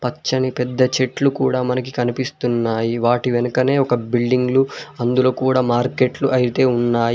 పచ్చని పెద్ద చెట్లు కూడా మనకి కనిపిస్తున్నాయి వాటి వెనకనే ఒక బిల్డింగులు అందరూ కూడా మార్కెట్లు అయితే ఉన్నాయి.